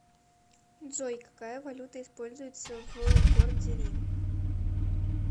джой какая валюта используется в городе рим